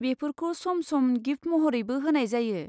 बेफोरखौ सम सम गिफ्ट महरैबो होनाय जायो।